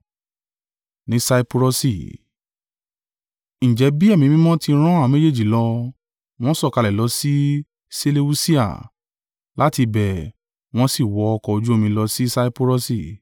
Ǹjẹ́ bí Ẹ̀mí Mímọ́ ti rán àwọn méjèèjì lọ, wọ́n sọ̀kalẹ̀ lọ sí Seleusia; láti ibẹ̀ wọ́n sì wọ ọkọ̀ ojú omi lọ sí Saipurọsi.